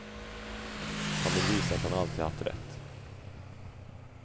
Han vill visa att han alltid haft rätt.